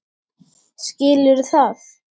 Skilurðu það?